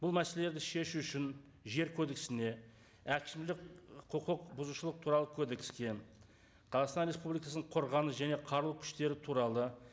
бұл мәселелерді шешу үшін жер кодексіне әкімшілік құқық бұзушылық туралы кодекске қазақстан республикасының қорғаныс және қару күштері туралы